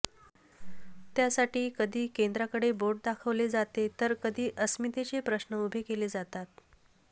त्यासाठी कधी केंद्राकडं बोट दाखवले जाते तर कधी अस्मितेचे प्रश्न उभे केले जातात